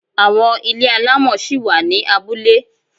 Àwọn ilé alámọ̀ ṣí wà ni abúlé.